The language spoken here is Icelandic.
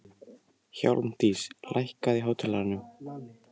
Hjálmdís, lækkaðu í hátalaranum.